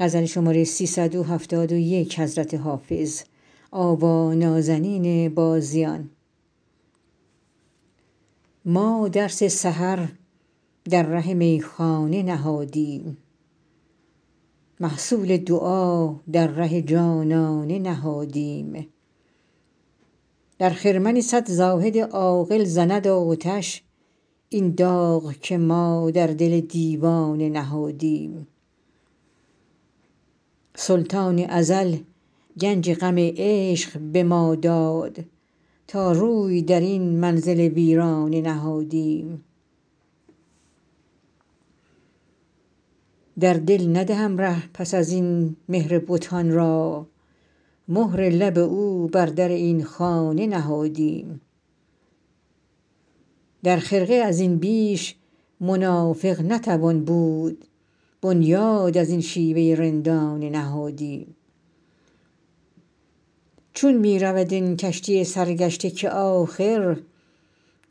ما درس سحر در ره میخانه نهادیم محصول دعا در ره جانانه نهادیم در خرمن صد زاهد عاقل زند آتش این داغ که ما بر دل دیوانه نهادیم سلطان ازل گنج غم عشق به ما داد تا روی در این منزل ویرانه نهادیم در دل ندهم ره پس از این مهر بتان را مهر لب او بر در این خانه نهادیم در خرقه از این بیش منافق نتوان بود بنیاد از این شیوه رندانه نهادیم چون می رود این کشتی سرگشته که آخر